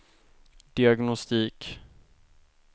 diagnostik